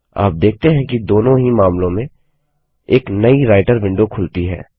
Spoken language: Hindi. आप देखते हैं कि दोनों ही मामलों में एक नई राइटर विंडो खुलती है